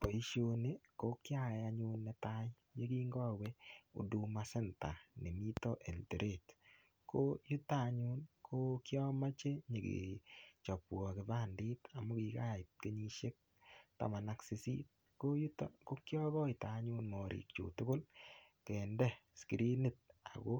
Boisiioni ko ki ayai anyun netai ye kikowe Huduma Centre nemiten Eldoret ko yuton anyun ko kiamoche nyokechobwon kipandet amun kigait kenyisiek taman ak sisit ko yuto ko kyo goite anyun tugul kende skrinit ago